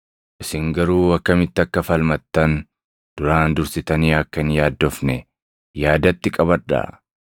Isin garuu akkamitti akka falmattan duraan dursitanii akka hin yaaddofne yaadatti qabadhaa.